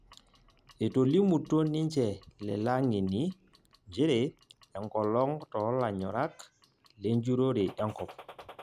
Etolimutuo ninje lele ang'eni njere enkolong' tolanyorak lenjurore enkop.